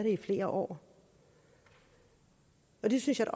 i flere år det synes jeg